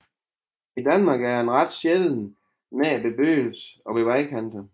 I Danmark er den ret sjælden nær bebyggelse og ved vejkanter